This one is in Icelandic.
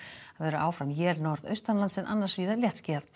áfram él norðaustanlands en annars víða léttskýjað